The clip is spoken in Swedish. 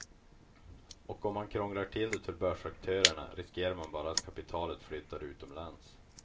Och om man krånglar till det för börsaktörerna riskerar man bara att kapitalet flyttar utomlands.